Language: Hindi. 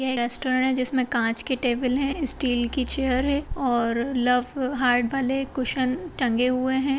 यह रेस्टोरेंट है जिसमें कांच के टेबल हैं स्टील की चेयर है और लव हार्ट वाले कुसन टंगे हुए हैं।